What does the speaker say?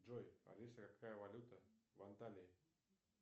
джой алиса какая валюта в анталии